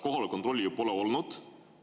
Kohaloleku kontrolli ju pole olnud.